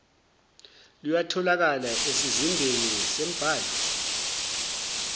luyatholaka esizindeni sembhalo